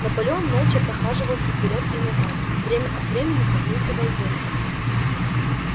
наполеон молча прохаживался вперёд и назад время от времени обнюхивая землю